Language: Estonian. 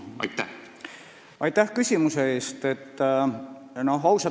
Aitäh küsimuse eest!